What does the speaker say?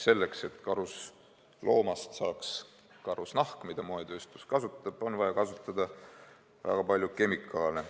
Selleks, et karusloomast saaks karusnahk, mida moetööstus kasutab, on vaja kasutada väga palju kemikaale.